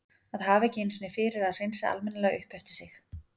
Að hafa ekki einu sinni fyrir að hreinsa almennilega upp eftir sig.